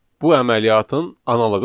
Bu əməliyyatın analoğu sayılır.